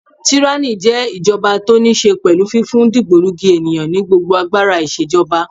Tíránì jẹ́ ìjọba tó níí ṣe pẹ̀lú fífún dìgbòlugi ènìyàn ní gbogbo agbára ìṣèjọba.